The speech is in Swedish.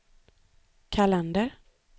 kalender